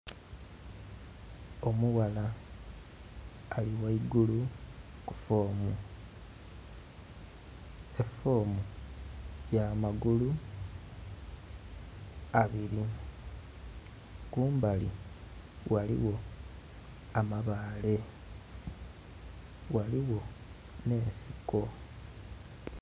Omughala ali ghaigulu ku foomu, efoomu ya magulu abili, kumbali, ghaligho amabaale, ghaligho n'ensiko.